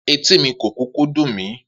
Etí mi kò kúkú dùn mí